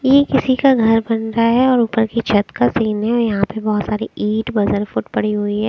ये किसी का घर बन रहा है और ऊपर की छत का सीन है यहाँ पे बहोत सारी ईंट पड़ी हुई है।